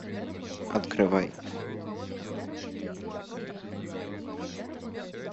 открывай